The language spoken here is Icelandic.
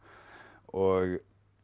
og